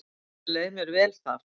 Enda leið mér vel þar.